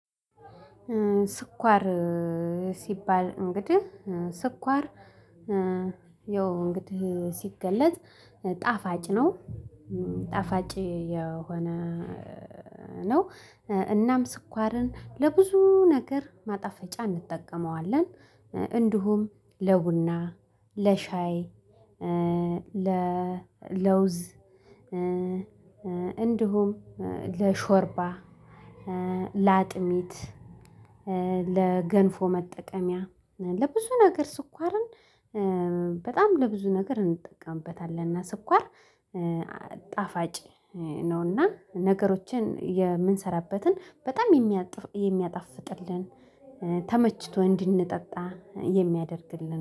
ስኳር እ ሲባል እንግዲህ እ ስኳር እ ያው እንግዲህ ሲገለጽ ጣፋጭ ነው ጣፋጭ የሆነ ነው። እናም ስኳርን ለብዙ ነገር ማጣፈጫ እንጠቀመዋለን። እንዲሁም ለቡና ለሻይ እ ለ ለውዝ እ እንዲሁም ለሾርባ እ ለአጥሚት እ ለገንፎ መጠቀሚያ ለብዙ ነገር ስኳርን እ በጣም ለብዙ ነገር እንጠቀምበታለን። እና ስኳር እ ጣፋጭ ነው እና ነገሮችን የምንሰራበትን በጣም የሚያ የሚያጣፍጥልን ተመችቶ እንድንጠጣ የሚያደርግልን